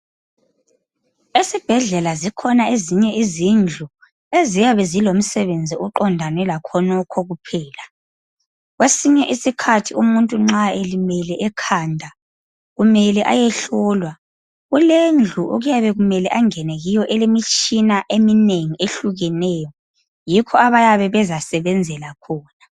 Esibhedlela zikhona ezinye izindlu eziyabe zilomsebenzi oqondane lakhonokho kuphela. Kwesinye isikhathi umuntu nxa elimele ekhanda kumele ayehlolwa, kulendlu okuyabe kumele angene kiyo elemitshina eminengi ehlukeneyo. Yikho lapho abayabe bezasebenzela khona.